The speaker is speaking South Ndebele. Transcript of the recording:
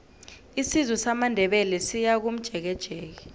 isizwe samandebele siyakomjekejeke